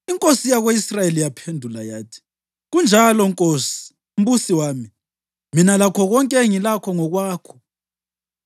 Inkosi yako-Israyeli yaphendula yathi, “Kunjalo nkosi mbusi wami. Mina lakho konke engilakho ngokwakho.”